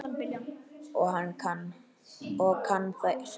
Og kann sig.